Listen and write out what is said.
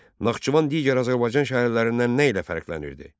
Naxçıvan digər Azərbaycan şəhərlərindən nə ilə fərqlənirdi?